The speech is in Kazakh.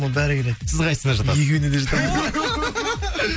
бәрі келеді сіз қайсысына жатасыз екеуіне де жатамын